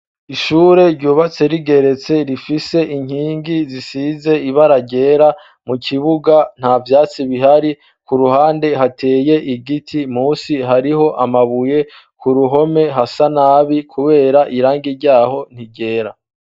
ishure ryubatse rigeretse rifise inkingi zisize ibara ryera mukibuga ntavyatsi bihari ku ruhande hateye igiti munsi hariho amabuye kuruhome hasa nabi kubera irangi ryaho ntiryera